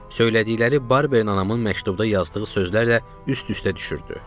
Söylədikləri barberin anamın məktubda yazdığı sözlərlə üst-üstə düşürdü.